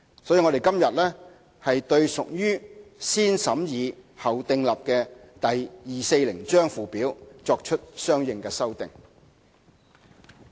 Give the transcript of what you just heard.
所以，我們今天對屬"先審議後訂立"的第240章附表，作出相應修訂。